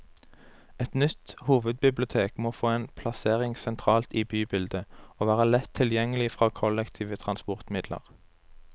Et nytt hovedbibliotek må få en plassering sentralt i bybildet, og være lett tilgjengelig fra kollektive transportmidler.